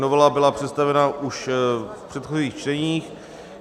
Novela byla představena už v předchozích čteních.